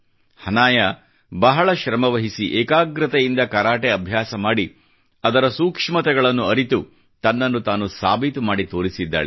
ಹನಾಯ ಬಹಳ ಶ್ರಮವಹಿಸಿ ಏಕಾಗ್ರತೆಯಿಂದ ಕರಾಟೆ ಅಭ್ಯಾಸ ಮಾಡಿ ಅದರ ಸೂಕ್ಷ್ಮತೆಗಳನ್ನು ಅರಿತು ತನ್ನನ್ನು ತಾನು ಸಾಬೀತು ಮಾಡಿ ತೋರಿಸಿದ್ದಾಳೆ